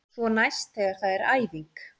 Svo næst þegar það er æfing.